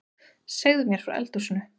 Segðu mér frá eldhúsinu